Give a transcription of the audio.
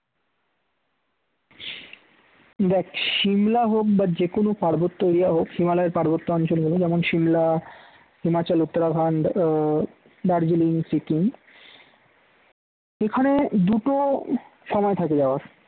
দ্যাখ সিমলা হোক বা যে কোনও পার্বত্য area হোক হিমালয়ের পার্বত্য অঞ্চল যেমন সিমলা, হিমাচল, উত্তরাখণ্ডে ও, দার্জিলিং সিকিম এখানে দুটো সময় থাকে যাওয়ার